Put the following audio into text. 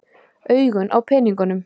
Augun á peningunum.